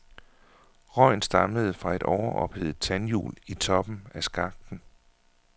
Røgen stammede fra et overophedet tandhjul i toppen af skakten.